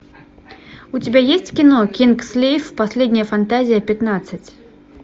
у тебя есть кино кингсглейв последняя фантазия пятнадцать